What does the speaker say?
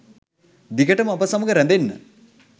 දිගටම අප සමග රැඳෙන්න.